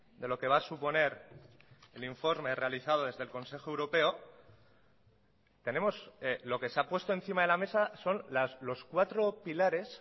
de lo que va a suponer el informe realizado desde el consejo europeo tenemos lo que se ha puesto encima de la mesa son los cuatro pilares